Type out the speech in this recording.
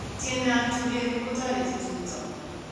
Tientap tureru kutoriti tumto.